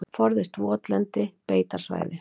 Forðist votlend beitarsvæði.